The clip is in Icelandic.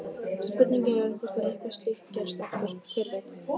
Spurningin er hvort að eitthvað slíkt gerist aftur, hver veit?